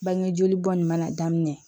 Bangejoli bɔ nin mana daminɛ